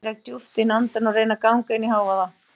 Ég dreg djúpt inn andann og reyni að ganga inn í hávaða